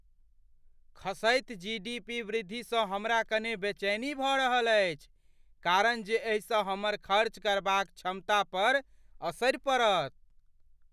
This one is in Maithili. खसैत जीडीपी वृद्धिसँ हमरा कने बेचैनी भऽ रहल अछि कारण जे एहिसँ हमर खर्च करबाक क्षमता पर असरि पड़त।